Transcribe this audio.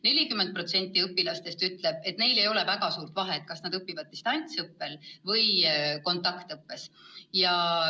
40% õpilastest ütleb, et neil ei ole väga suurt vahet, kas nad õpivad distantsilt või kontaktõppes.